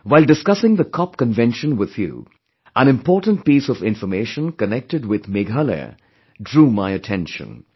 While discussing the COP convention with you, an important piece of information connected with Meghalaya drew my attention